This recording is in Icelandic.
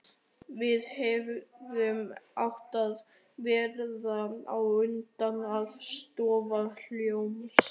Við hefðum átt að verða á undan að stofna hljómsveit.